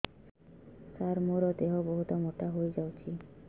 ସାର ମୋର ଦେହ ବହୁତ ମୋଟା ହୋଇଯାଉଛି